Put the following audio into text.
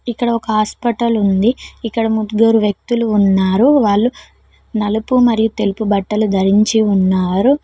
ఇక్కడ ఒక హాస్పటల్ ఉంది ఇక్కడ ముగ్గురు వ్యక్తులు ఉన్నారు వాళ్ళు నలుపు మరియు తెలుపు బట్టలు ధరించి ఉన్నారు.